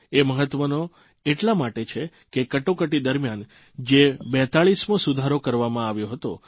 એ મહત્વનો એટલા માટે છે કે કટોકટી દરમ્યાન જે 42મો સુધારો કરવામાં આવ્યો હતો